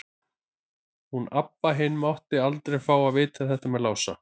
Hún Abba hin mátti aldrei fá að vita þetta með hann Lása.